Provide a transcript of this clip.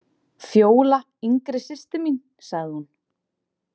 Fjóla yngri systir mín, sagði hún.